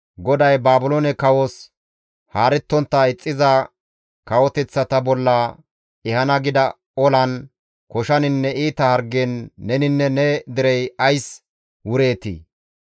GODAY Baabiloone kawos haarettontta ixxiza kawoteththata bolla ehana gida olan, koshaninne iita hargen neninne ne derey ays wureetii?